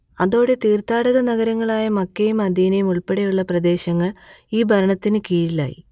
അതോടെ തീർത്ഥാടക നഗരങ്ങളായ മക്കയും മദീനയും ഉൾപ്പെടെയുള്ള പ്രദേശങ്ങൾ ഈ ഭരണത്തിനു കീഴിലായി